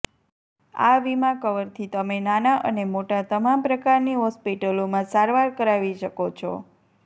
આ વીમા કવરથી તમે નાના અને મોટા તમામ પ્રકારની હોસ્પિટલોમાં સારવાર કરાવી શકો છો